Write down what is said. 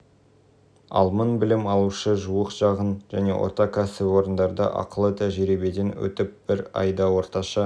ал мың білім алушы жуық шағын және орта кәсіпорындарда ақылы тәжірибеден өтіп бір айда орташа